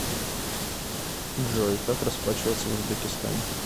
джой как расплачиваться в узбекистане